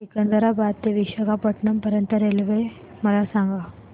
सिकंदराबाद ते विशाखापट्टणम पर्यंत च्या रेल्वे मला सांगा